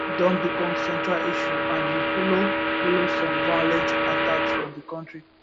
don become central issue and e follow follow some violent attacks for di kontri